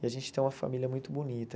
E a gente tem uma família muito bonita.